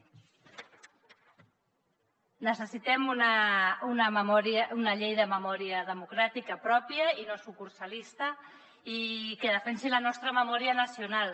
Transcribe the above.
necessitem una llei de memòria democràtica pròpia i no sucursalista i que defensi la nostra memòria nacional